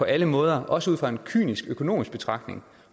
alle måder også ud fra en kynisk økonomisk betragtning